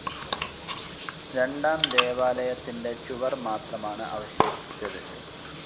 രണ്ടാം ദേവാലയത്തിന്റെ ചുവർ മാത്രമാണ് അവശേഷിച്ചത്.